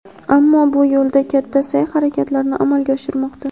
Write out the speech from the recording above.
ammo bu yo‘lda katta sa’y-harakatlarni amalga oshirmoqda.